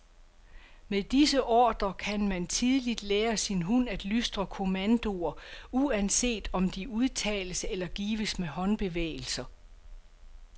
Med disse ordrer kan man tidligt lære sin hund at lystre kommandoer, uanset om de udtales eller gives med håndbevægelser.